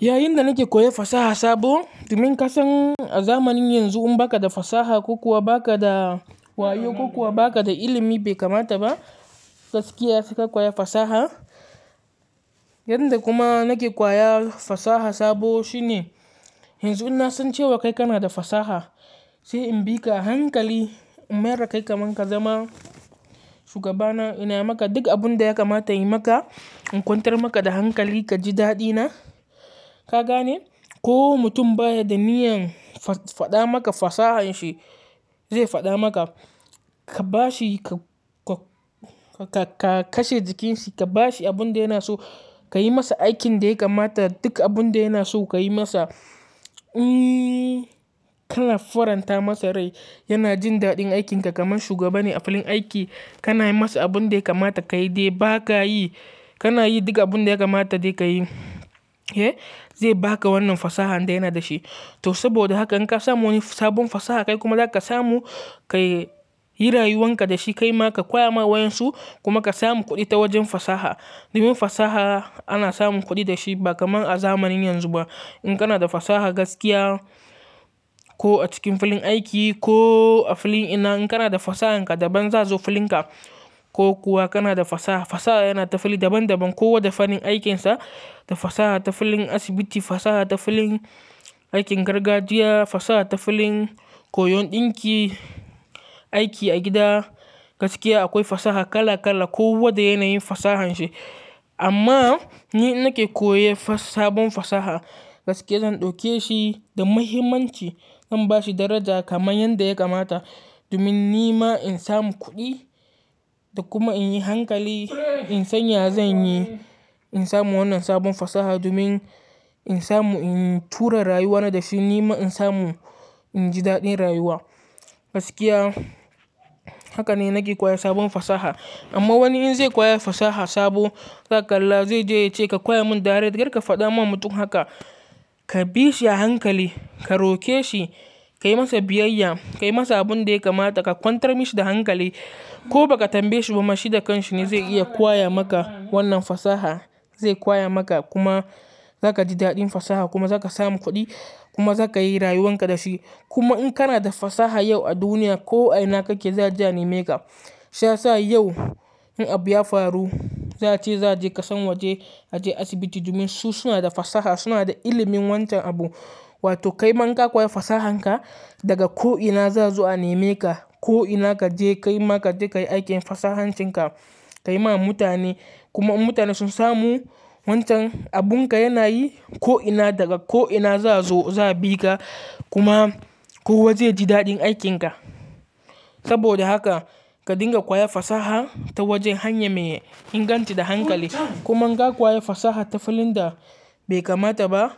Yayin da nake koyan fasaha sabo, domin kasan a zamanin yanzu in ba ka da fasaha ko kuwa ba ka da wayo ko kuwa ba ka da ilimi bai kamata ba. Gaskiya ka koya fasaha. Yanda kuma nake koya fasaha sabo shine yanzu in na san cewa kai kana da fasaha, sai in bi ka a hankali, in mayar kai ka man ka zama shugabana, ina maka duk abun da ya kamata yi maka, in kwantar maka da hankali ka ji daɗina. Ka gane? Ko mutum baya da niyyan faɗa maka fasahanshi zai faɗa maka, ka ba shi, ka, ka, ka kashe jikinsa, ka ba shi abun da yana so, ka yi masa aikin da ya kamata, duk abun da yana so ka yi masa, kana faranta masa rai. Yana jin daɗin aikin ka kaman shugaba ne a filin aiki. Kana yi masa abun da ya kamata ka yi, dai ba ka yi. Kana yi duka abun da ya kamata dai ka yi. Eh, zai baka wannan fasahan da yana da shi. To saboda haka in ka samu wani sabon fasaha kai kuma za ka samu, ka yi rayuwan ka da shi, ka yi ma ka, koya ma wayansu kuma ka samu kuɗi ta wajen fasaha. Domin fasaha ana samun kuɗi da shi ba kamar a zamanin yanzu ba. In kana da fasaha gaskiya ko a cikin filin aiki ko a filin ina, in kana da fasahanka, daban za su zo filinka ko kuwa kana da fasaha. Fasaha yana ta fali daban daban. Kowa da fannin aikinsa. Da fasaha ta filin asibiti, fasaha ta filin aikin gargajiya, fasaha ta filin koyon ɗinki, aiki a gida. Gaskiya akwai fasaha kala kala. Kowa da yanayin fasahanshi. Amma ni nake koya fas-sabon fasaha, gaskiya zan ɗauke shi da muhimmanci, in ba shi daraja kamar yadda ya kamata. Domin ni ma in samu kuɗi da kuma in yi hankali, in san ya zan yi, in samu wannan sabon fasaha domin in samu in tura rayuwana da shi. Ni ma in samu, in ji daɗin rayuwa. Gaskiya haka ne nake koya sabon fasaha. Amma wani in zai kwaya fasaha sabo, zaka kalla zai je ya ce ka koya mun direct, kar ka faɗa ma mutum haka. Ka bi shi a hankali, ka roke shi, ka yi masa biyayya, ka yi masa abun da ya kamata, ka kwantar mashi da hankali ko ba ka tambaye shi ba. Shi da kanshi ne zai iya kwaya maka wannan fasaha. Zai kwaya maka kuma za ka ji daɗin fasaha kuma za ka samu kuɗi kuma za ka yi rayuwan ka da shi. Kuma in kana da fasaha yau a duniya, ko ina kake za a ja ni make. Shayasa yau in abu ya faru, za a ce za je kasan waje, a je asibiti domin su suna da fasaha, suna da ilimin wancan abu. Wato kai man ka koya fasahanka daga ko ina za su zo a neme ka. Ko ina ka je ka yi ma ka je ka yi aikin fasahancinka, ka yi ma mutane kuma in mutane sun samu wancan abun ka yana yi, ko ina daga ko ina za su zo za a bi ka kuma kowa zai ji daɗin aikin ka. Saboda haka ka dinga kwaya fasaha ta wajen hanya mai inganci da hankali. Kuma in ka kwaya fasaha ta filin da bai kamata ba,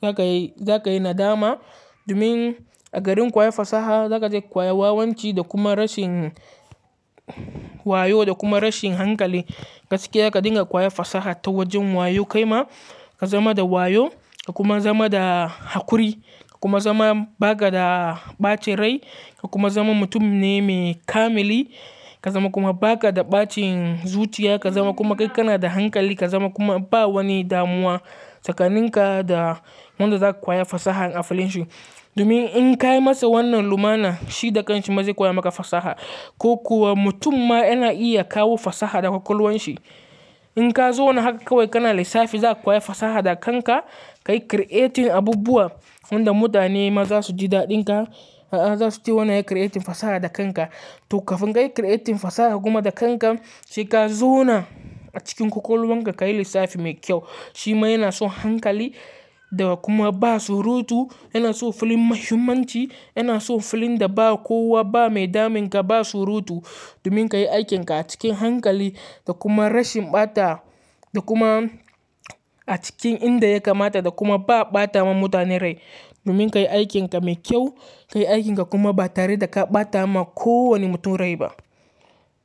za ka yi, za ka yi nadama. Domin a garin kwaya fasaha za ka je kwaya wawanci da kuma rashin wayo da kuma rashin hankali. Gaskiya ka dinga kwaya fasaha ta wajen wayo kai ma, ka zama da wayo, ka kuma zama da hakuri ka kuma zama ba ka da ɓacin rai ka kuma zama mutum ne mai kamili. Ka zama kuma ba ka da ɓacin zuciya, ka zama kuma kai kana da hankali, ka zama kuma ba wani damuwa tsakanin ka da wanda za ka kwaya fasaha a filin shi. Domin in ka yi masa wannan lumana, shi da kanshi ma zai koya maka fasaha. Ko kuwa mutum ma yana iya kawo fasaha daga kwakwalwan shi. In ka zauna haka kawai kana lissafi za ka kwaya fasaha da kanka, ka yi creating abubuwa wanda mutane ma za su ji daɗin ka, a za su ci wannan ya creating fasaha da kanka. To kafin ka yi creating fasaha kuma da kanka, sai ka zo na a cikin kwakwalwan ka ka yi lissafi mai kyau. Shi ma yana so hankali da kuma ba surutu, yana so filin muhimmanci, yana so filin da ba kowa ba mai damun ka ba surutu. Domin ka yi aikin ka a cikin hankali da kuma rashin ɓata da kuma a cikin inda ya kamata da kuma ba ɓata ma mutane rai. Domin ka yi aikin ka mai kyau, ka yi aikin ka kuma ba tare da ka ɓata ma ko wani mutum rai ba.